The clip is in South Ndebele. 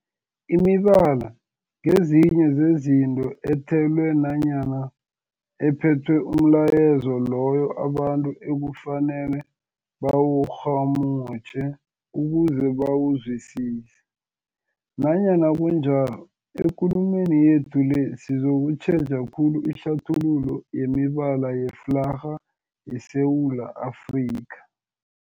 Imibala ngezinye zezinto ethelwe nanyana ephethe umlayezo loyo abantu ekufanele bawurhumutjhe ukuze bawuzwisise. Nanyana kunjalo, ekulumeni yethu le sizokutjheja khulu ihlathululo yemibala yeflarha yeSewula Afrika.